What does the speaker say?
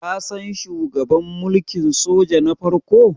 kasan shugaban mulkin soja na farko?